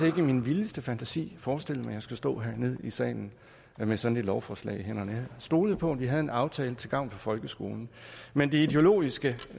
ikke i min vildeste fantasi forestillet mig at jeg skulle stå hernede i salen med sådan et lovforslag i hænderne stolede på at vi havde en aftale til gavn for folkeskolen men det ideologiske